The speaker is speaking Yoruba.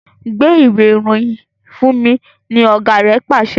Gba Ìwé-ìròyìn fúnmi! ní ọgá rẹ pàṣẹ.